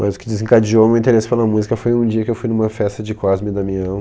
Mas o que desencadeou o meu interesse pela música foi um dia que eu fui numa festa de Cosme e Damião.